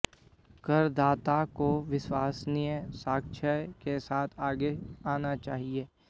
करदाता को विश्वसनीय साक्ष्य के साथ आगे आना चाहिए